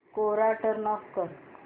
कोरा turn off कर